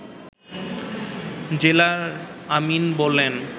জেলার আমীন বলেন